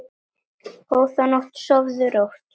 Góða nótt, sofðu rótt.